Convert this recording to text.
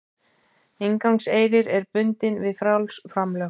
Inngangseyrir er bundinn við frjáls framlög